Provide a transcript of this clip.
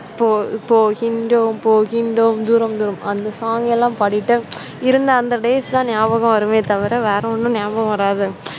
இப்போ போகின்றோம் போகின்றோம் தூரம் தூரம்! அந்த song எல்லாம் பாடிட்டு இருந்த அந்த days எல்லா ஞாபகம் வருமே தவிர வேற ஒன்னும் ஞாபகம் வராது.